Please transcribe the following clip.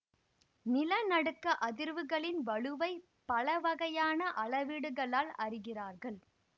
நில நடுக்க அதிர்வுகளின் வலுவை பலவகையான அளவீடு களால் அறிகிறார்கள்